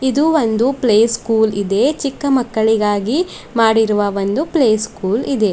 ಇದು ಒಂದು play school ಇದೆ ಚಿಕ್ಕ ಮಕ್ಕಳಿಗಾಗಿ ಮಾಡಿರುವ ಒಂದು ಪ್ಲೇ ಸ್ಕೂಲ್ ಇದೆ.